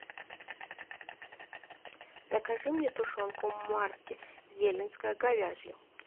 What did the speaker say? закажи мне тушенку марки елинская говяжья